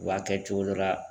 U b'a kɛ cogo dɔ la.